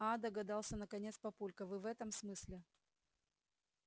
аа догадался наконец папулька вы в этом смысле